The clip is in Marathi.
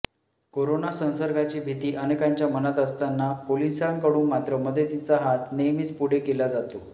करोना संसर्गाची भीती अनेकांच्या मनात असताना पोलिसांकडून मात्र मदतीचा हात नेहमीच पुढे केला जातो